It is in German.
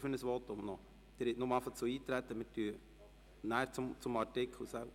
Grossrat Löffel, möchten Sie ein Votum halten?